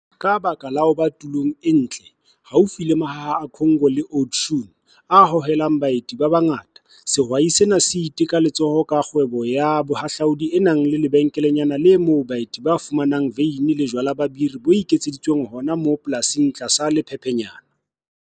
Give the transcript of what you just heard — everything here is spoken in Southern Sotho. Ka baka la ho ba tulong e ntle, haufi le Mahaha a Cango le Oudtshoorn, a hohelang baeti ba bangata, sehwai sena sa iteka letsoho ka kgwebo ya bohahlaodi e nang le lebenkelenyana le moo baeti ba fumanang veine le jwala ba biri bo iketseditsweng hona moo polasing tlasa lephephenyana.